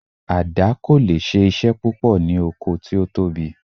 Àdá kò leè ṣe iṣẹ́ púpọ̀ ní oko tí ó tóbi